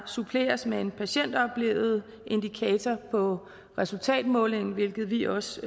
suppleres med en patientoplevet indikator på resultatmålingen hvilket vi også